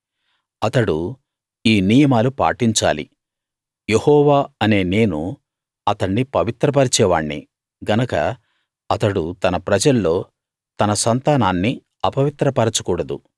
అతడు ఈ నియమాలు పాటించాలి యెహోవా అనే నేను అతణ్ణి పవిత్రపరిచే వాణ్ణి గనక అతడు తన ప్రజల్లో తన సంతానాన్ని అపవిత్ర పరచకూడదు